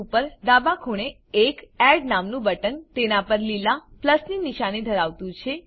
ઉપર ડાબે ખૂણે એક એડ નામનું બટન તેના પર લીલા પ્લસની નિશાની ધરાવતું છે